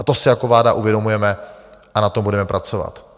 A to si jako vláda uvědomujeme a na tom budeme pracovat.